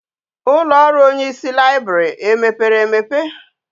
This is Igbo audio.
Ulo oru onye isi library e mepere emepe?